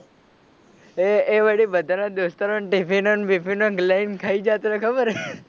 એ એ વળી બધા ના દોસ્તારો ને ટીફીનો ને બીફીનો ને લઈ ને ખઈ જતાં તા ખબર હે.